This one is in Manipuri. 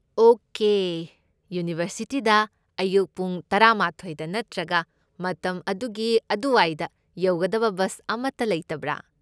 ꯑꯣꯀꯦ, ꯌꯨꯅꯤꯚꯔꯁꯤꯇꯤꯗ ꯑꯌꯨꯛ ꯄꯨꯡ ꯇꯔꯥꯃꯥꯊꯣꯢꯗ ꯅꯠꯇ꯭ꯔꯒ ꯃꯇꯝ ꯑꯗꯨꯒꯤ ꯑꯗꯨꯋꯥꯏꯗ ꯌꯧꯒꯗꯕ ꯕꯁ ꯑꯃꯇ ꯂꯩꯇꯕ꯭ꯔꯥ?